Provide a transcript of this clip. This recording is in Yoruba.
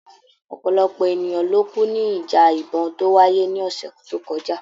Ọ̀pọ̀lọpọ̀ ènìyàn ló kú ní ìjà ìbọ̀n tó wáyé ní ọ̀sẹ̀ tó kọjá.